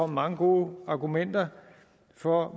mange gode argumenter for